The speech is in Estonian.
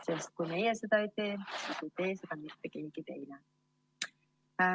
Sest kui meie seda ei tee, siis ei tee seda ka mitte keegi teine.